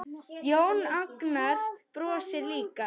Jón Agnar brosir líka.